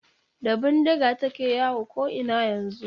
Da bindiga take yawo ko'ina yanzu.